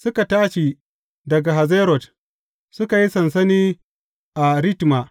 Suka tashi daga Hazerot, suka yi sansani a Ritma.